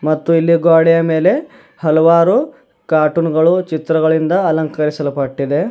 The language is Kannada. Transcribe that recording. ಮತ್ತು ಇಲ್ಲಿ ಗೋಡೆಯ ಮೇಲೆ ಹಲವಾರು ಕಾರ್ಟೂನ್ ಗಳು ಚಿತ್ರಗಳಿಂದ ಅಲಂಕರಿಸಲ್ಪಟ್ಟಿದೆ.